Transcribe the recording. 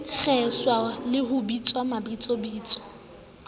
kgeswa le ho bitswa mabitsobitso